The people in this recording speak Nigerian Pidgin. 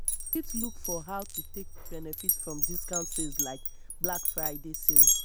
you fit look for how to take benefit from discount sales like black friday sales